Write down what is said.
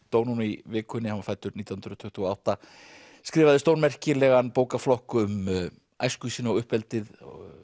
dó núna í vikunni hann var fæddur nítján hundruð tuttugu og átta skrifaði stórmerkilegan bókaflokk um æsku sína og uppeldið